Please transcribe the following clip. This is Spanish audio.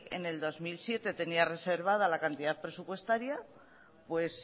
en el dos mil siete tenía reservada la cantidad presupuestaria pues